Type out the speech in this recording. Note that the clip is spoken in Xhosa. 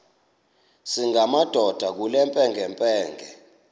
singamadoda kule mpengempenge